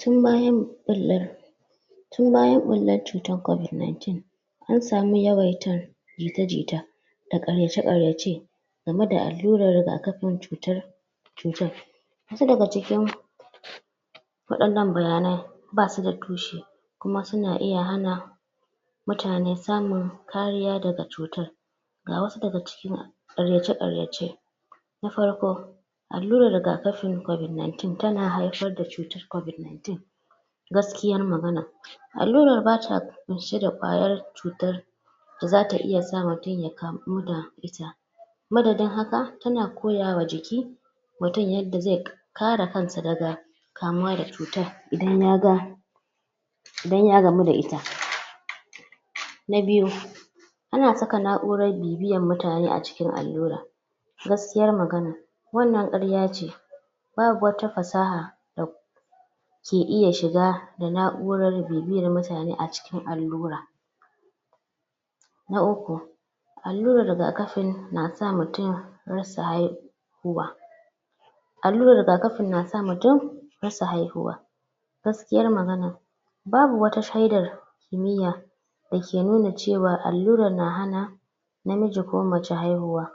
Ton bayan ɓullan ɓullan ton bayan ɓullan cutar covid-19 an samu yawaita jita-jita da karyace-karyace game da alluran rigakafi cutar. Wasu daga cikin waɗannan bayanan ba su da tushe kuma suna iya hana mutane samun kariya daga cutar. Ga wasu daga cikin karyace-karyace. Na farko alluran rigakafi covid-19 tana haifar da cutar covid-19. Gaskiyar magana alluran ba ta ƙunshe da ƙwayar cutar da zata iya sa mutum ya kamu da ita. Madadin haka tana koyawa jikin mutum yadda zai kare kansa daga kamuwa da cutar idan ya gamu da ita. Na biyu ana saka na'uran tracking bibiyan mutane a cikin alluran. Gaskiya magana wannan karyace. Ba wata fasaha da ke iya shiga da na'ura tracking bibiyan mutane a cikin allura. Na uku allurar rigakafi na sa mutum rasa haihuwa. Alluran rigakafi na sa mutum rasa haihuwa. Gaskiyar magana ba wata shedar kimiyya da ke nuna cewa alluran na hana namiji ko mace haihuwa.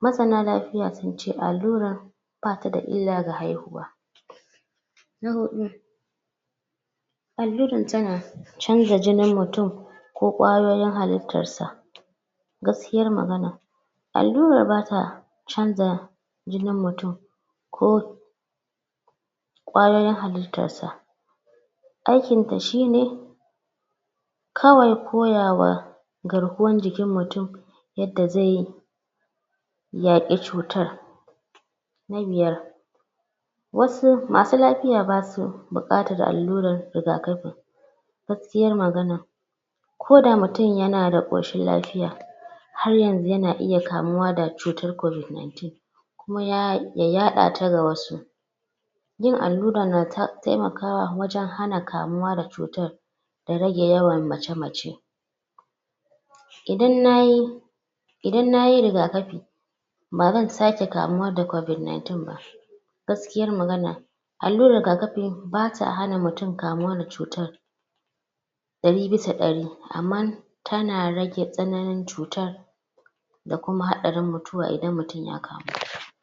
Masana lafiya sun ce alluran ba ta da illa ga haihuwa. Na huɗu alluran tana canza jinin mutum ko ƙwayoyin halittarsa. Gaskiyar magana alluran ba ta canza jinin mutum ko ƙwayoyin halittarsa. Aikinta shine kawai koyawa garkuwar jikin mutum yadda zai yi yaƙi da cutar. Na biyar wasu masu lafiya ba su buƙatar alluran rigakafi. Gaskiyar magana koda mutum yana da koshin lafiya har yanzu yana iya kamuwa da cutar covid-19 kuma ya yaɗata. Ga wasu yin allura nata taimakawa wajen hana kamuwa da cutar da rage yawan mace-mace. Idan nayi idan na yi rigakafi ba zan sake kamuwa da covid-19 ba. Gaskiyar magana allurar rigakafi ba ta hana mutum kamuwa da cutar ɗari bisa ɗari amma tana rage tsananin cutar da kuma haɗarin mutuwa idan mutum ya kamu da ita.